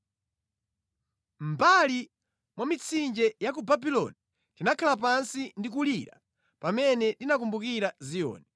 Mʼmbali mwa mitsinje ya ku Babuloni tinakhala pansi ndi kulira pamene tinakumbukira Ziyoni.